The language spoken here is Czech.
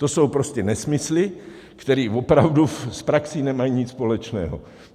To jsou prostě nesmysly, které opravdu s praxí nemají nic společného.